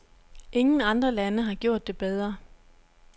Ingen andre lande har gjort det bedre.